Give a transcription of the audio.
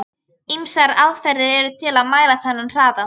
Ýmsar aðferðir eru til að mæla þennan hraða.